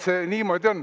See niimoodi on.